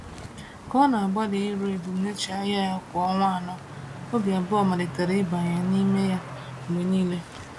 Ka ọ na-agbalị iru ebumnuche ahịa ya kwa ọnwa anọ, obi abụọ malitere ịbanye n’ime ya mgbe niile.